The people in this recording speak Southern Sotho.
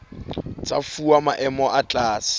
tsa fuwa maemo a tlase